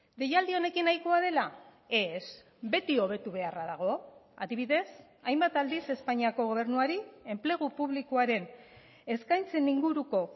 deialdi honekin nahikoa dela ez beti hobetu beharra dago adibidez hainbat aldiz espainiako gobernuari enplegu publikoaren eskaintzen inguruko